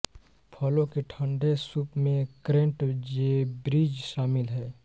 फलों के ठन्डे सूप में क्रेंटजेब्रिज शामिल है